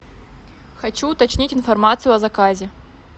хочу уточнить информацию о заказе